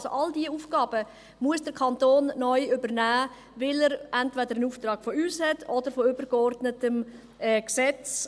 All diese Aufgaben muss der Kanton neu übernehmen, weil er entweder einen Auftrag von uns hat oder von einem übergeordneten Gesetz.